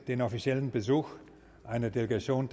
den offiziellen besuch einer delegation